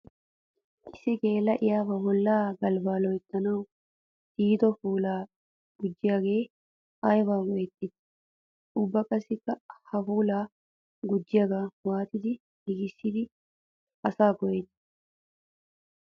Issi geela'iya ba bolla galbba loyttanawu tiyiddo puula gujjiyagge aybba geetetti? Ubba qassikka ha puula gujjiyaaga waatiddi giigissiddi asay go'etti?